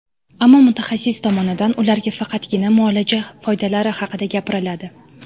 Ammo mutaxassis tomonidan ularga faqatgina muolaja foydalari haqida gapiriladi.